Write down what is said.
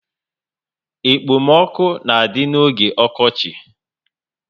Ekpo m ọkụ na adị n'oge okochi